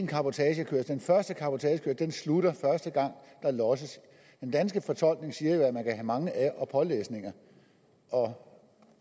cabotagekørsel slutter første gang der losses den danske fortolkning siger jo at man kan have mange af og pålæsninger og